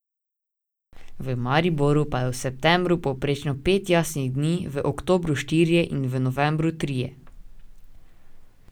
V Mariboru pa je v septembru povprečno pet jasnih dni, v oktobru štirje in v novembru trije.